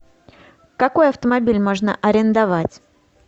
какой автомобиль можно арендовать